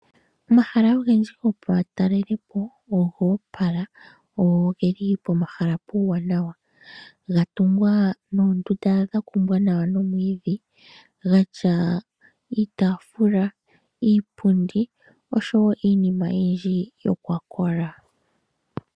Omahala ogendji gomatalelepo ogo opola gwo ogeli pomahala geli nawa gatungwa noondunda dhakumbwa nawa nomwiidhi dhatya iitaafula, iipundi osho woo iinima oyindji iikwakola.